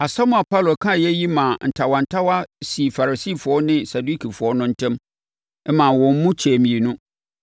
Asɛm a Paulo kaeɛ yi maa ntawantawa sii Farisifoɔ ne Sadukifoɔ no ntam maa wɔn mu kyɛɛ mmienu,